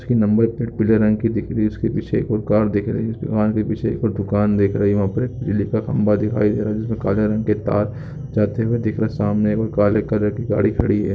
इसकी number plate पीले रंग की दिख रही है उसके पीछे एक और कार दिख रही है इस दुकान के पीछे एक और दुकान दिख रही है वहाँ पर एक बिजली का खंबा दिखाई दे रहा है जिसमे पर काले रंग के तार जाते हुए दिख रहे हैं सामने एक और काले कलर की गाड़ी खड़ी है।